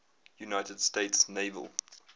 united states naval